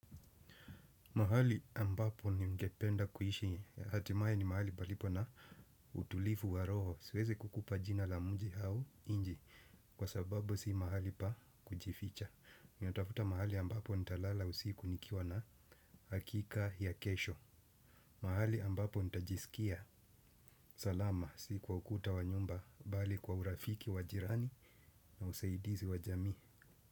Mahali ambapo ningependa kuishi. Hatimaye ni mahali palipo na utulivu wa roho. Siwezi kukupa jina la mji au inch. Kwa sababu si mahali pa kujificha. Ninatafuta mahali ambapo nitalala usiku nikiwa na hakika ya kesho. Mahali ambapo ntajisikia salama. Si kwa ukuta wa nyumba, bali kwa urafiki wa jirani na usaidizi wa jamii.